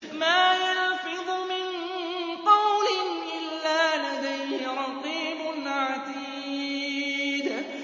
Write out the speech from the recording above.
مَّا يَلْفِظُ مِن قَوْلٍ إِلَّا لَدَيْهِ رَقِيبٌ عَتِيدٌ